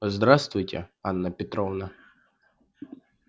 здравствуйте анна петровна